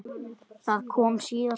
Það kom síðar.